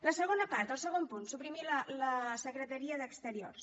la segona part el segon punt suprimir la secretaria d’exteriors